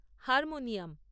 harmonium